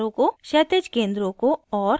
* क्षैतिज केंद्रों को और